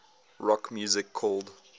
rock music called